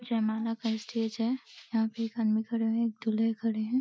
जयमाला का स्टेज है। यहां पे एक आदमी खड़ा है दूल्हे खड़े हैं।